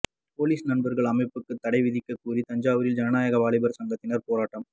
police நண்பர்கள் அமைப்புக்கு தடை விதிக்கக்கோரி தஞ்சாவூரில் ஜனநாயக வாலிபர் சங்கத்தினர் போராட்டம்